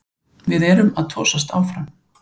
Við erum að tosast áfram